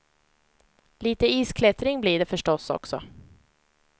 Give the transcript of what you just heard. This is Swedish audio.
Lite isklättring blir det förstås också.